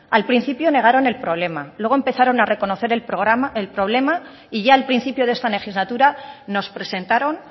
al principio negaron el problema luego comenzaron a reconocer el problema y ya el principio de esta legislatura nos presentaron